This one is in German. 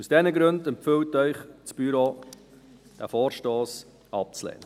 Aus diesen Gründen empfiehlt Ihnen das Büro, diesen Vorstoss abzulehnen.